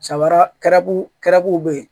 Samara kɛraw bɛ ye